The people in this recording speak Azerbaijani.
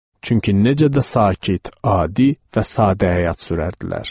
Çünki necə də sakit, adi və sadə həyat sürərdilər.